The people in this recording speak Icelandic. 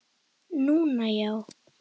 Núna, já.